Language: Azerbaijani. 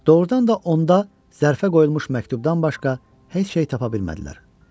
Doğrudan da onda zərfə qoyulmuş məktubdan başqa heç nəyi tapa bilmədilər.